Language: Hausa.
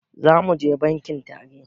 Zamuje bankin tare